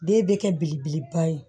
Den bɛ kɛ belebeleba ye